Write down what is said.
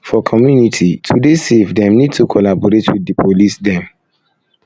for community to dey safe dem need to collaborate with di police dem